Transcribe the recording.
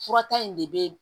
Furata in de bee